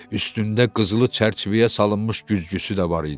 Üstündə qızılı çərçivəyə salınmış güzgüsü də var idi.